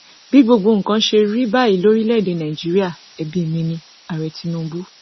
bí gbogbo nǹkan ṣe rí báyìí lórílẹèdè nàíjíríà ẹbí mi níààrẹ tinubu